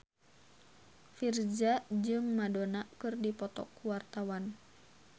Virzha jeung Madonna keur dipoto ku wartawan